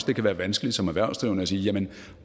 det kan være vanskeligt som erhvervsdrivende at sige jamen